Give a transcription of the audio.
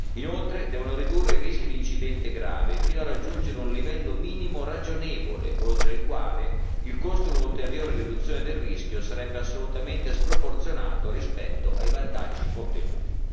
Inoltre devono ridurre i rischi di incidente grave, fino a raggiungere un livello minimo ragionevole, oltre il quale il costo di un'ulteriore riduzione del rischio sarebbe assolutamente sproporzionato rispetto ai vantaggi ottenuti.